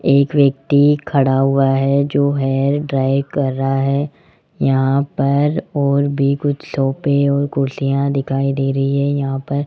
एक व्यक्ति खड़ा हुआ है जो हेयर ड्राई कर रहा है यहां पर और भी कुछ सोफे और कुर्सियां दिखाई दे रही है यहां पर --